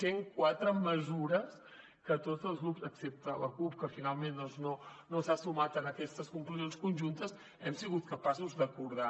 cent quatre mesures que tots els grups excepte la cup que finalment no s’ha sumat a aquestes conclusions conjuntes hem sigut capaços d’acordar